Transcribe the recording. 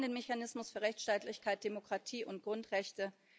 Wir brauchen den Mechanismus für Rechtsstaatlichkeit, Demokratie und Grundrechte.